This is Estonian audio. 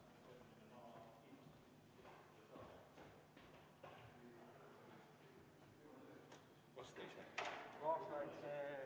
V a h e a e g